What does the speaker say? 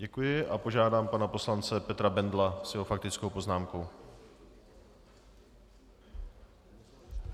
Děkuji a požádám pana poslance Petra Bendla s jeho faktickou poznámkou.